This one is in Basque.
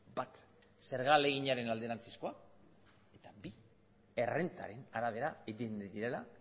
bat zerga ahaleginaren alderantzizkoa eta bi errentaren arabera egin direla